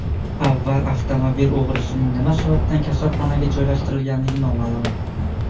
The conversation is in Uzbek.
Avval avtomobil o‘g‘risining nima sababdan kasalxonaga joylashtirilganligi noma’lum.